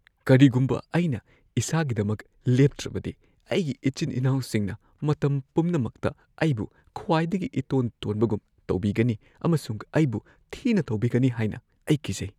ꯀꯔꯤꯒꯨꯝꯕ ꯑꯩꯅ ꯏꯁꯥꯒꯤꯗꯃꯛ ꯂꯦꯞꯇ꯭ꯔꯕꯗꯤ, ꯑꯩꯒꯤ ꯏꯆꯤꯟ-ꯏꯅꯥꯎꯁꯤꯡꯅ ꯃꯇꯝ ꯄꯨꯝꯅꯃꯛꯇ ꯑꯩꯕꯨ ꯈ꯭ꯋꯥꯏꯗꯒꯤ ꯏꯇꯣꯟ-ꯇꯣꯟꯕꯒꯨꯝ ꯇꯧꯕꯤꯒꯅꯤ ꯑꯃꯁꯨꯡ ꯑꯩꯕꯨ ꯊꯤꯅ ꯇꯧꯕꯤꯒꯅꯤ ꯍꯥꯏꯅ ꯑꯩ ꯀꯤꯖꯩ꯫